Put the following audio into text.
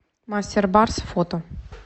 мастер барс фото